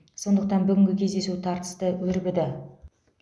сондықтан бүгінгі кездесу тартысты өрбіді